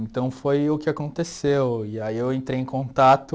Então foi o que aconteceu e aí eu entrei em contato